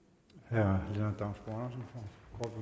gøre